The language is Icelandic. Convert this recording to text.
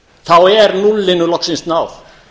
þá er núllinu loksins náð